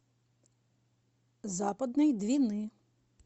западной двины